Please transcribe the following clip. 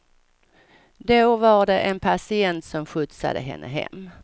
Då var det en patient som skjutsade henne hem.